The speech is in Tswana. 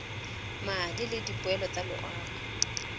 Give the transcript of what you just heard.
madi le dipoelo tsa loago